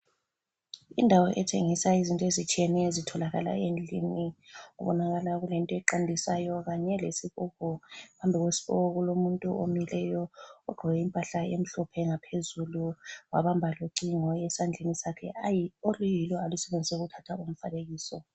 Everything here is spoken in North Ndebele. Indawo etshengisa izinto ezitshiyeneyo ezitholakala endlini. Kubonakala kulento eqandisayo kanye lesigubhu phambi kwesigubhu kulomuntu omileyo ogqoke impahla emhlophe ngaphezulu wabamba locingo esandleni oluyilo alusebenzisa ukuthatha umfanekiso.